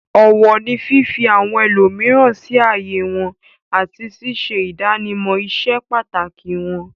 Ọ̀wọ̀ ni fífi àwọn ẹlòmíràn sí ààyè wọn àti ṣíṣe ìdámọ̀ ìse pàtàkì wọn.